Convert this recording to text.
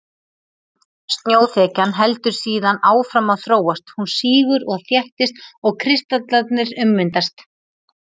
Snjóþekjan heldur síðan áfram að þróast, hún sígur og þéttist og kristallarnir ummyndast.